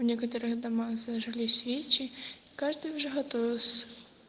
но некоторые дома зажгли свечи и каждый уже готовился